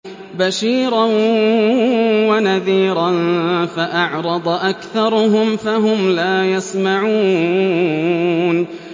بَشِيرًا وَنَذِيرًا فَأَعْرَضَ أَكْثَرُهُمْ فَهُمْ لَا يَسْمَعُونَ